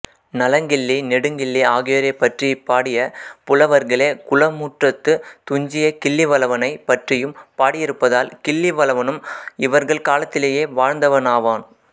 நலங்கிள்ளி நெடுங்கிள்ளி ஆகியோரைப் பற்றிப் பாடிய புலவர்களே குளமுற்றத்துத் துஞ்சிய கிள்ளிவளவனைப் பற்றியும் பாடியிருப்பதால் கிள்ளிவளவனும் இவர்கள் காலத்திலேயே வாழ்ந்தவனாவான்